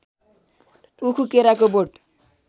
उखु केराको बोट